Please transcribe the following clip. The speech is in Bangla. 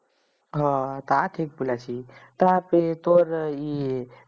হ তা ঠিক বলেছিস তাতে তোর ওই ই